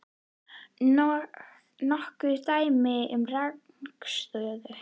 Nokkur dæmi um rangstöðu?